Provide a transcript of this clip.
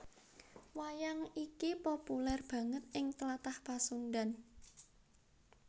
Wayang iki populèr banget ing Tlatah Pasundhan